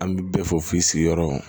An bɛ bɛɛ fɔ i sigiyɔrɔ